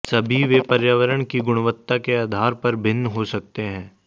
सभी वे पर्यावरण की गुणवत्ता के आधार पर भिन्न हो सकते हैं